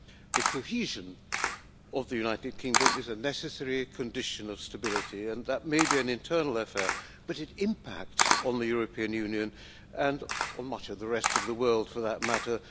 The cohesion of the United Kingdom is a necessary condition of stability, and that may be an internal affair but it impacts on the European Union and on much of the rest of the world for that matter.